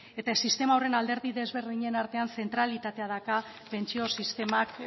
eta sistema horren alderdi ezberdinen artean zentralitatea dakar pentsio sistemak